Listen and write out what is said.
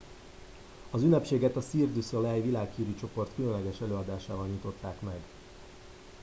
az ünnepséget a cirque du soleil világhírű csoport különleges előadásával nyitották meg